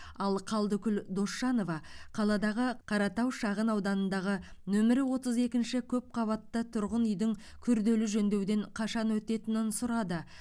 ал қалдыкүл досжанова қаладағы қаратау шағын ауданындағы нөмірі отыз екінші көпқабатты тұрғын үйдің күрделі жөндеуден қашан өтетінін сұрады